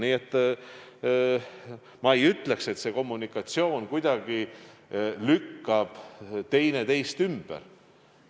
Nii et ma ei ütleks, et kommunikatsioon oleks selline, et üks väide kuidagi lükkab teise ümber.